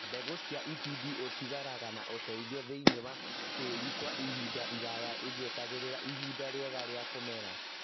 Mbegũ cia itindiĩ ũtigaraga na ũteithio thĩinĩ wa tĩri Kwa ihinda iraya igĩeterera ihinda rĩega rĩa kũmera